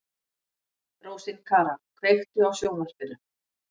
Rósinkara, kveiktu á sjónvarpinu.